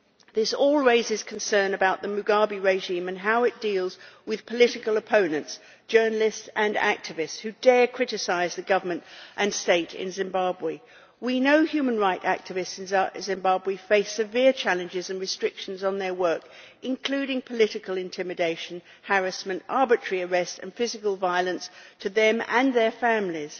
This all raises concern about the Mugabe regime and how it deals with political opponents, journalists and activists who dare to criticise the government and state in Zimbabwe. We know that human rights activists in Zimbabwe face severe challenges and restrictions on their work, including political intimidation, harassment, arbitrary arrest and physical violence to them and their families.